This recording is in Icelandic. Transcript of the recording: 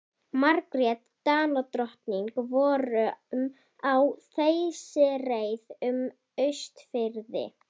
Margrét Danadrottning vorum á þeysireið um Austfirði.